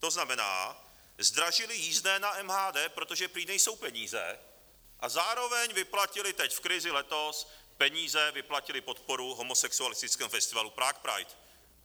To znamená, zdražili jízdné na MHD, protože prý nejsou peníze, a zároveň vyplatili teď v krizi letos peníze, vyplatili podporu homosexualistickému festivalu Prague Pride.